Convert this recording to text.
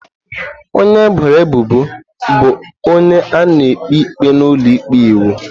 Onye eboro ebubo bụ onye a na-ekpe ikpe n’ụlọ ikpe iwu.